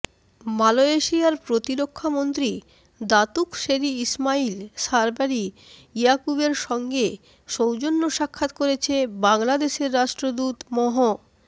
মালয়েশিয়ার প্রতিরক্ষামন্ত্রী Datuk Seri Ismail Sabri ইয়াকুবের সঙ্গে সৌজন্য সাক্ষাৎ করেছে বাংলাদেশের রাষ্ট্রদূত মহ